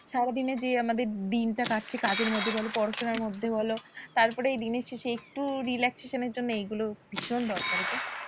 সারাদিনে যে আমাদের দিনটা কাটছে কাজের মধ্যে বলো পড়াশোনার মধ্যে বলো তারপরে দিনের শেষে একটু relaxation এর জন্য এগুলো ভীষণ দরকার গো।